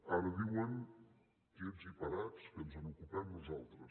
ara diuen quiets i parats que ens n’ocupem nosaltres